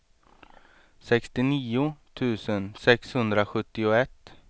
sextionio tusen sexhundrasjuttioett